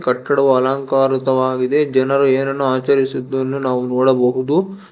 ಕಟ್ಟಡವು ಅಲಂಕಾರಿತವಾಗಿದೆ ಜನರು ಏನನ್ನೋ ಆಚರಿಸುದ್ದನ್ನು ನಾವು ನೋಡಬಹುದು.